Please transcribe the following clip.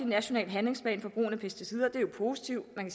national handlingsplan for brugen af pesticider det er jo positivt man